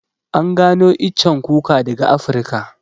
An gano iccen kuka daga Afrika